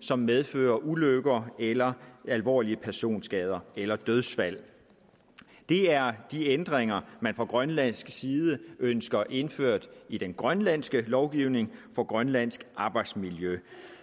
som medfører ulykker eller alvorlige personskader eller dødsfald det er de ændringer man fra grønlandsk side ønsker indført i den grønlandske lovgivning for grønlandsk arbejdsmiljø